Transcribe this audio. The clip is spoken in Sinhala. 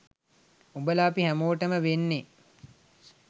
උඹල අපි හැමෝටම වෙන්නේ